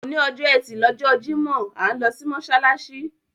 Òní ọjọ́ ẹtí lọjọ́ Jímọ̀, à ń lọ sí mọ́ṣáláṣí.